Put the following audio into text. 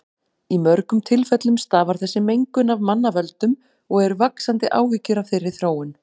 Í mörgum tilfellum stafar þessi mengun af mannavöldum og eru vaxandi áhyggjur af þeirri þróun.